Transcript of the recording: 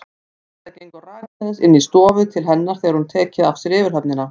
Edda gengur rakleiðis inn í stofu til hennar þegar hún hefur tekið af sér yfirhöfnina.